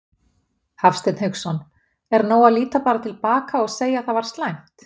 Hafsteinn Hauksson: Er nóg að líta bara til baka og segja það var slæmt?